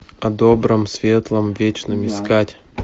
о добром светлом вечном искать